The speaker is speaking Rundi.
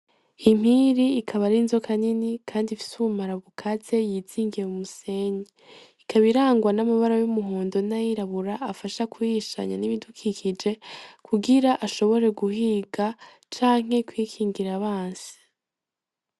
Impiri ikaba ari inzoka nini kandi ifise ubumara bukaze, yizingiye mu musenyi. Ikaba irangwa n'amabara y'umuhondo n'ayirabura afasha kwihishanya n'ibifukikije kugira ashobore guhiga canke kwikingira abansi.